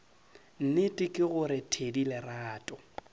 nnete ke gore thedi lerato